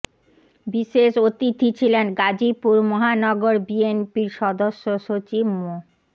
বিশেষ অতিথি ছিলেন গাজীপুর মহানগর বিএনপির সদস্য সচিব মো